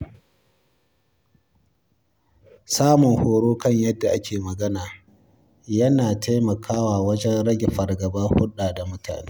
Samun horo kan yadda a ke magana yana taimakawa wajen rage fargabar hulɗa da mutane.